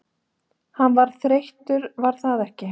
Hann varð þreyttur var það ekki?